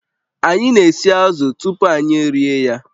Anyị na-esi azụ̀ tupu anyị erie ya